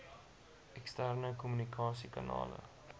eksterne kommunikasie kanale